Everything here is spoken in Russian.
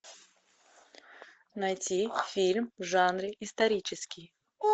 найти фильм в жанре исторический